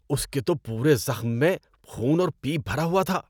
اس کے تو پورے زخم میں خون اور پیپ بھرا ہوا تھا۔